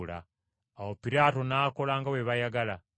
Awo Piraato n’akola nga bwe baayagala.